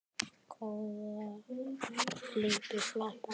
Góða ferð, elsku Svana.